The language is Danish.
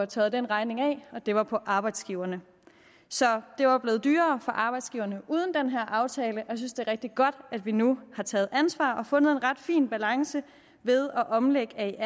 tørret den regning af og det var på arbejdsgiverne så det var blevet dyrere for arbejdsgiverne uden den her aftale og jeg synes at det er rigtig godt at vi nu har taget ansvar og fundet en ret fin balance ved at omlægge aer